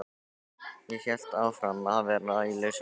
Ég hélt því áfram að vera í lausu lofti.